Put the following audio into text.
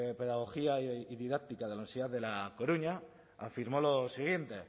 pedagogía y didáctica de la universidad de a coruña afirmó lo siguiente